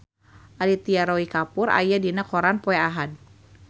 Aditya Roy Kapoor aya dina koran poe Ahad